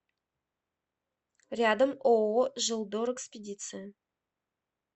рядом ооо желдорэкспедиция